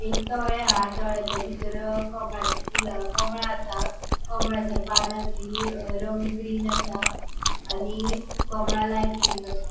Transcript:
एक तळे हा तळ्याचे बितर कमळाचे फूल कमळ आसा कमळाच्या पानाची रंग ग्रीन आसा आणि कमळा लाइट पिंक आसा.